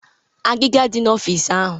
Weta agiga dị n'ọfịs ahụ!